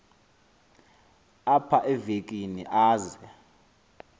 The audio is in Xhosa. apha evekini aze